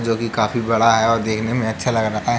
जो कि काफी बड़ा है और देखने में अच्छा लग रहा है।